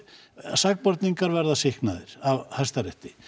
sakborningar verða sýknaðir af Hæstarétti